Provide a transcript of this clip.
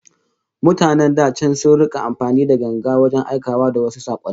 Mutanen da can sun rika amfani da ganga wajen aikawa da wasu sakonni